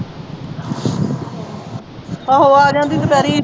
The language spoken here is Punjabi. ਆਹੋ ਆ ਜਾਂਦੀ ਦੁਪਹਿਰੇ ਹੀ